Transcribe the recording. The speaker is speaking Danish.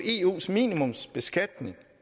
eus minimumsbeskatning